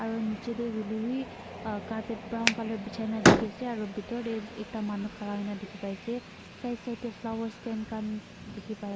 aru niche te hoile b ah carpet brown colour bichai na dekhi ase aru bitor te ekta manu khara hona dekhi pai ase side side te flower stain khan dekhi pai--